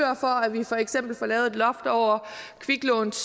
vi for eksempel får lavet et loft over kviklåns